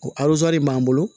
O b'an bolo